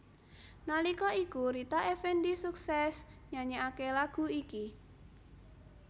Nalika iku Rita Effendy suksès nyanyèkaké lagu iki